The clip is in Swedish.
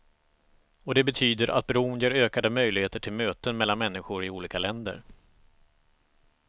Och det betyder att bron ger ökade möjligheter till möten mellan människor i olika länder.